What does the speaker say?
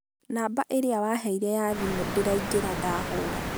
namba ĩrĩa waheire ya thimũ ndĩraingĩra ndahũra.